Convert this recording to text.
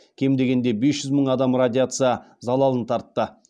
кем дегенде бес жүз мың адам радиация залалын тартты